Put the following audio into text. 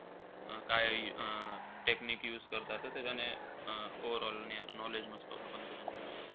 अं काय अं technique use करता त त्याच्याने अं overall ने knowledge नसतो तो पण त्याच्याने.